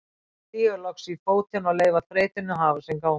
Stíga loks í fótinn og leyfa þreytunni að hafa sinn gang.